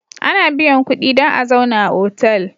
Ana biyan kudi dan a zauna a otal